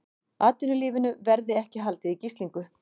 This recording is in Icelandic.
Atvinnulífinu verði ekki haldið í gíslingu